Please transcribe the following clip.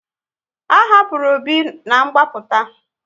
A hapụrụ Obi na ngbaputa